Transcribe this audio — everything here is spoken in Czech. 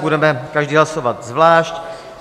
Budeme každý hlasovat zvlášť.